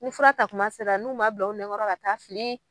N ko fura ta kuma sera n'u ma bila u nɛ kɔrɔ ka taa fili.